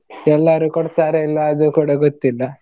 ಎಲ್ಲಾರು ಕೊಡ್ತರ ಇಲ್ವಾ ಅದು ಕೂಡ ಗೊತ್ತಿಲ್ಲ.